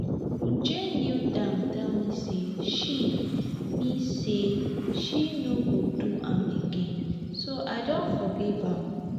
uju kneel down tell me say she me say she no go do am again so i don forgive am